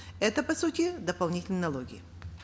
это по сути дополнительные налоги